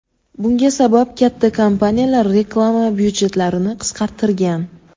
Bunga sabab katta kompaniyalar reklama byudjetlarini qisqartirgan.